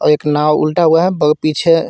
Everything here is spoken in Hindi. एक नाव उल्टा हुआ है ब पिछे--